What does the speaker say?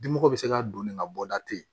Dimɔgɔ bɛ se ka don nin ka bɔ da te